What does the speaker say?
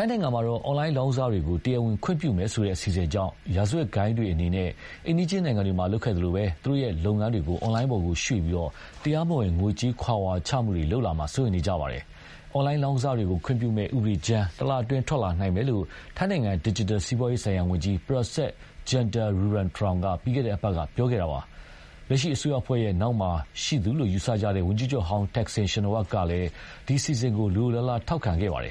ိုင်းနိုင်ငံမှာ အွန်လိုင်းလောင်းကစားတွေကို တရားဝင်ခွင့်ပြုမယ်ဆိုတဲ့ အစီအစဉ်ကြောင့် ရာဇဝတ်ဂိုဏ်းတွေအနေနဲ့ အိမ်နီးချင်းနိုင်ငံတွေမှာ လုပ်ခဲ့သလို သူတို့လုပ်ငန်းတွေကို အွန်လိုင်းပေါ်ကို ရွေ့ပြီး တရားမဝင်ငွေကြေးခဝါချမှုတွေ လုပ်လာမှာ စိုးရိမ်လာကြပါတယ်။ အွန်လိုင်းလောင်းကစားတွေကို ခွင့်ပြုမယ့် ဥပဒေကြမ်း တလအတွင်း ထွက်လာနိုင်မယ်လို့ ထိုင်းနိုင်ငံ ဒစ်ဂျစ်တယ်စီးပွားရေးဆိုင်ရာ ဝန်ကြီး ပရာဆက် ဂျန်တာရူရန်တောင်က ပြီးခဲ့တဲ့အပတ်က ပြောခဲ့တာပါ။ လက်ရှိအစိုးရအဖွဲ့ရဲ့ နောက်မှာရှိသူလို့ ယူဆကြတဲ့ ဝန်ကြီးချုပ်ဟောင်း တက်ဆင် ရှင်နဝပ်ကလည်း ဒီအစီအစဉ်ကို လိုလိုလားလားထောက်ခံခဲ့တာပါ။